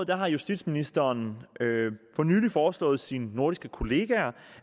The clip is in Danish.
har justitsministeren for nylig foreslået sine nordiske kollegaer